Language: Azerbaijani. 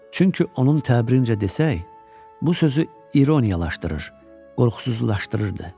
Çünki onun təbirincə desək, bu sözü ironiyalaşdırır, qorxusuzlaşdırırdı.